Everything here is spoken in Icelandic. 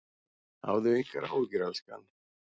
Hafðu engar áhyggjur elskan.